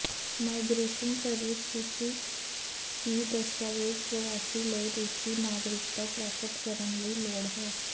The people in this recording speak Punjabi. ਮਾਈਗਰੇਸ਼ਨ ਸਰਵਿਸ ਸੂਚਿਤ ਕੀ ਦਸਤਾਵੇਜ਼ ਪ੍ਰਵਾਸੀ ਲਈ ਰੂਸੀ ਨਾਗਰਿਕਤਾ ਪ੍ਰਾਪਤ ਕਰਨ ਲਈ ਲੋੜ ਹੈ